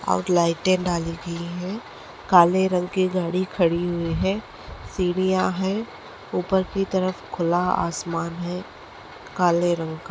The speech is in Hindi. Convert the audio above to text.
और लाइटे डाली हुई है काले रंग के गाडी खड़ी हुई है सीढिया है उपर की तरफ खुला आसमान है काले रंग का।